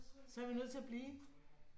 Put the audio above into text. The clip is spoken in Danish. Så er vi nødt til at blive